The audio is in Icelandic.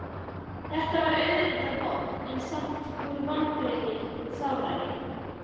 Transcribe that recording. Þetta var auðvitað vont en samt voru vonbrigðin sárari.